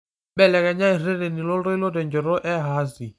mbelekenya ireteni loltoilo tenchoto e hasi